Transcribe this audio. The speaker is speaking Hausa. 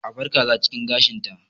A bar kaza a cikin gashinta.